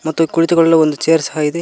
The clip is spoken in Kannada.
ಮತ್ತು ಇಲ್ಲಿ ಕುಳಿತುಕೊಳ್ಳಲು ಒಂದು ಚೇರ್ ಸಹ ಇದೆ.